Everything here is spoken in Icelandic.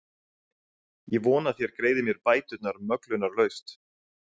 Ég vona þér greiðið mér bæturnar möglunarlaust.